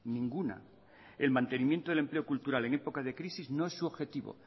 ninguna el mantenimiento del empleo cultural en épocas de crisis no es su objetivo